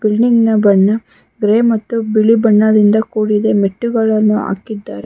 ಬಿಲ್ಡಿಂಗ್ನ ಬಣ್ಣ ಗ್ರೇ ಮತ್ತು ಬಿಳಿ ಬಣ್ಣದಿಂದ ಕೂಡಿದೆ ನೆಟ್ಟುಗಳನ್ನು ಹಾಕಿದ್ದಾರೆ.